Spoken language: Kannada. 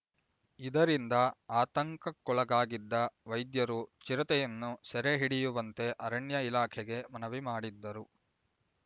ಇದರಿಂದ ಆತಂಕಕ್ಕೊಳಗಾಗಿದ್ದ ವೈದ್ಯರು ಚಿರತೆಯನ್ನು ಸೆರೆ ಹಿಡಿಯುವಂತೆ ಅರಣ್ಯ ಇಲಾಖೆಗೆ ಮನವಿ ಮಾಡಿದ್ದರು